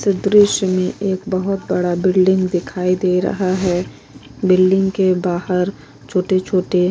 इस दृश्य में एक बहुत बड़ा बिल्डिंग दिखाई दे रहा है बिल्डिंग के बाहर छोटे छोटे --